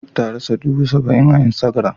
Ruth tarasa dubu saba-in a instagram.